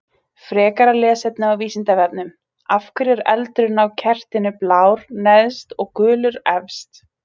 Frekara lesefni á Vísindavefnum: Af hverju er eldurinn á kertinu blár neðst og gulur efst?